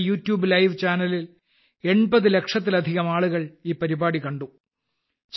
യുടെ യൂട്യൂബ് ചാനലിൽ 80 ലക്ഷത്തിലധികം ആളുകൾ ഈ പരിപാടി തത്സമയം കണ്ടു